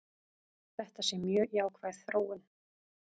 Þetta sé mjög jákvæð þróun.